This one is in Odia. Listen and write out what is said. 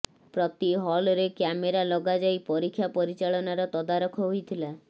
ପ୍ରତି ହଲ୍ରେ କ୍ୟାମେରା ଲଗାଯାଇ ପରୀକ୍ଷା ପରିଚାଳନାର ତଦାରଖ ହୋଇଥିଲା